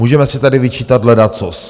Můžeme si tady vyčítat ledacos.